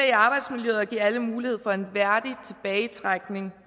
i arbejdsmiljøet og give alle mulighed for en værdig tilbagetrækning